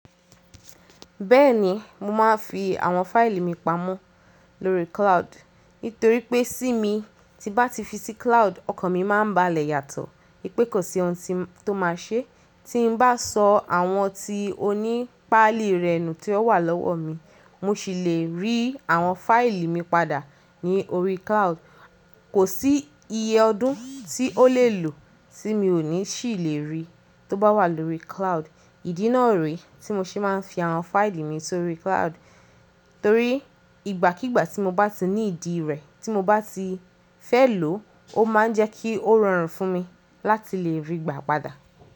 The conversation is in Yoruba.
Bẹ́ẹ̀ni, mo máa ń fi àwọn fáìlì mi pamọ́ lóri cloud. Nítorí pé sí mi ti n bá ti fi sí cloud ọkan mi máa n ba lẹ yàtọ̀. Ipè kò sí ohun tí m to ma ṣé tí n bá sọ àwọn tí ó ní páàlì rẹ̀ nú tí ó wà lọ́wọ́ mi. Mo ṣi lè rí àwọn fáìlì mi padà ní orí cloud. Kò sí iye ọdún tí ó lè lo tí mi ò ní ṣì lè rí, tó bá wà lóri cloud. Ìdí náà re tí mo ṣe máa ń fi àwọn fáìlì mi sórí cloud. Torí ìgbàkígbà tí mo bá ti ní ìdí rẹ̀ tí mo bá ti fẹ́ lò ó máa jẹ́ kí ó rọrùn fún mi láti lè rí i gbà padà.